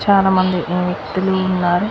చాలా మంది ఊ వ్యక్తులు ఉన్నారు.